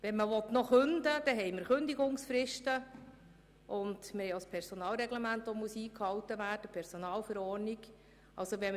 Wenn man kündigen will, muss man Kündigungsfristen sowie das Personalreglement und die Personalverordnung einhalten.